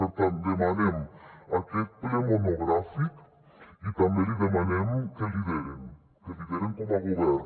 per tant demanem aquest ple monogràfic i també li demanem que lideren que lideren com a govern